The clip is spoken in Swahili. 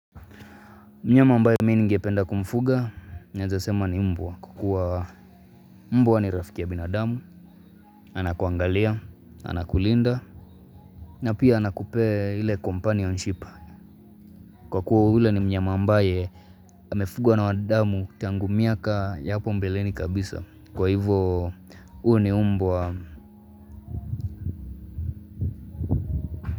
Mnyama ambaye mi ningependa kumfuga, naeza sema ni mbwa. Kukua mbwa ni rafiki ya binadamu, anakuangalia, anakulinda, na pia anakupea ile companionship. Kwa kuwa ule ni mnyama ambaye, amefugwa na wanadamu tangu miaka ya hapo mbeleni kabisa. Kwa hivyo, u ni mbwa.